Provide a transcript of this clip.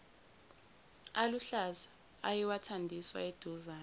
aluhlaza ayewathandiswa eduzane